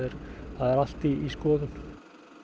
það er allt í skoðun